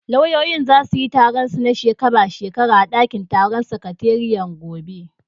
Lauyoyin zasu yi taron su na shekara shekara a ɗakin taron sakatariyar gobe.